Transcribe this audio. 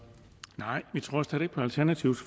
positivt